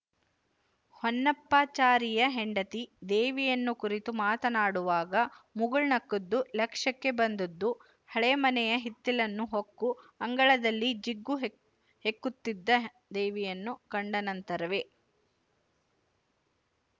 ಹೊನ್ನಪ್ಪಾಚಾರಿಯ ಹೆಂಡತಿ ದೇವಿಯನ್ನು ಕುರಿತು ಮಾತನಾಡುವಾಗ ಮುಗುಳುನಕ್ಕದ್ದು ಲಕ್ಷ್ಯಕ್ಕೆ ಬಂದದ್ದು ಹಳೆ ಮನೆಯ ಹಿತ್ತಿಲನ್ನು ಹೊಕ್ಕು ಅಂಗಳದಲ್ಲಿ ಜಿಗ್ಗು ಹೆಕ್ ಹೆಕ್ಕುತ್ತಿದ್ದ ದೇವಿಯನ್ನು ಕಂಡನಂತರವೇ